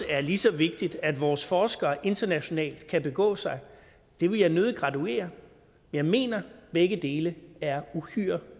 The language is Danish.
er lige så vigtigt at vores forskere internationalt kan begå sig det vil jeg nødig graduere jeg mener at begge dele er uhyre